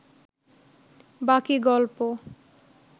বাকী গল্প